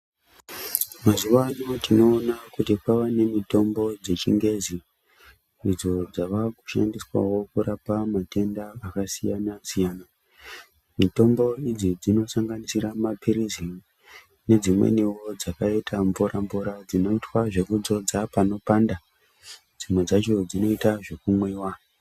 Mazuwano tinoona kuti kwava nemitombo dzechingezi idzo dzawakushandiswavo kurapa matenda akasiyana siyana . Mitombo idzi dzinosanganisira mapirizi nedzimweniwo dzakaita mvura mvura dzinoita zvekudzodza panobanda dzimwe dzacho dzinoita zvekumwiwa.